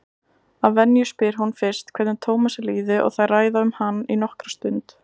Að venju spyr hún fyrst hvernig Tómasi líði og þær ræða um hann nokkra stund.